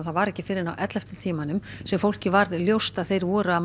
það var ekki fyrr en á ellefta tímanum sem fólki varð ljóst að þeir væru að